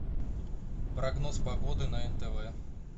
прогноз погоды на нтв